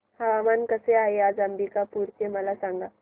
हवामान कसे आहे आज अंबिकापूर चे मला सांगा